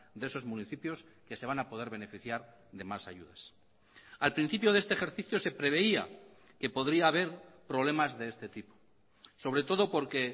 de esos municipios que se van a poder beneficiar de más ayudas al principio de este ejercicio se preveía que podría haber problemas de este tipo sobre todo porque